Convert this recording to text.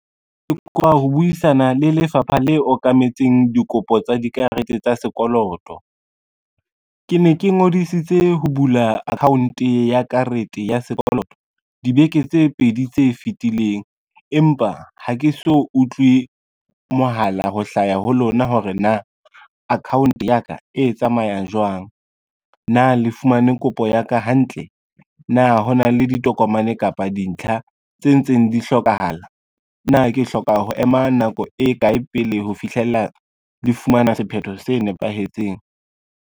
Ke kopa ho buisana le lefapha le okametseng dikopo tsa dikarete tsa sekoloto. Ke ne ke ngodisitse ho bula account ya karete ya sekoloto dibeke tse pedi tse fitileng, empa ha ke so utlwe mohala ho hlaya ho lona hore na account ya ka e tsamayang jwang. Na le fumane kopo ya ka hantle, na ho na le ditokomane kapa dintlha tse ntseng di hlokahala, na ke hloka ho ema nako e kae pele ho fihlella le fumana sephetho se nepahetseng.